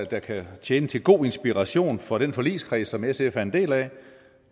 der kan tjene til god inspiration for den forligskreds som sf er en del af